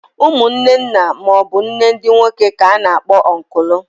Umunne nna maọbụ nne ndị nwoke k'a na-akpọ ọnkụlụ.